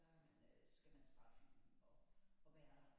Der man øh skal man starte filmen op og være der